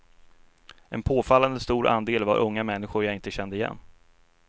En påfallande stor andel var unga människor jag inte kände igen.